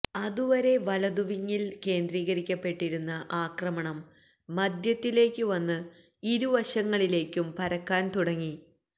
അതുവരെ വലതുവിങില് കേന്ദ്രീകരിക്കപ്പെട്ടിരുന്ന ആക്രമണം മധ്യത്തിലേക്കു വന്ന് ഇരുവശങ്ങളിലേക്കും പരക്കാന് തുടങ്ങി